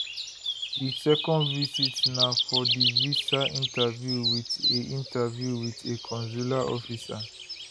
di second visit na for divisa interviewwit a interviewwit a consular officer